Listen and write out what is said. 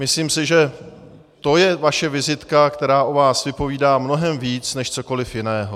Myslím si, že to je vaše vizitka, která o vás vypovídá mnohem víc než cokoli jiného.